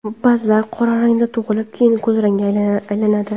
Ba’zilari qora rangda tug‘ilib, keyin kulrangga aylanadi.